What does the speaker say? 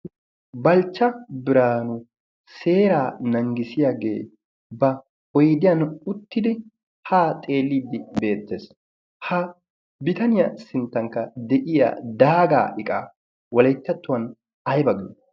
balchcha biraanu seeraa nanggisiyaagee ba oydiyan uttidi haa xeeliiddi beettees. ha bitaniyaa sinttankka de'iya daagaa iqa walecchattuwan ay bagee?